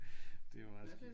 Det er meget sjovt